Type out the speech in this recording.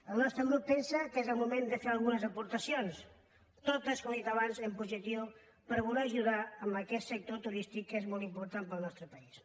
el nostre grup pen·sa que és el moment de fer algunes aportacions totes com he dit abans en positiu per voler ajudar aquest sector turístic que és molt important per al nostre país